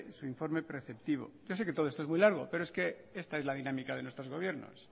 su informe preceptivo yo sé que todo esto es muy largo pero es que esta es la dinámica de nuestros gobiernos